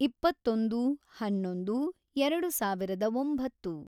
ಇಪ್ಪತ್ತೊಂದು, ಹನ್ನೊಂದು ಎರೆಡು ಸಾವಿರದ ಒಂಬತ್ತು